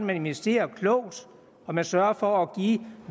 man investerer klogt og man sørger for at give